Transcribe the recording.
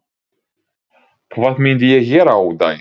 Hvað myndi ég gera á daginn?